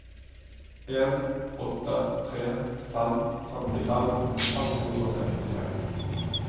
en åtte tre fem femtifem fem hundre og sekstiseks